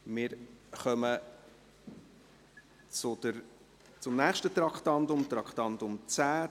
Wir kommen zum nächsten Traktandum, dem Traktandum 10.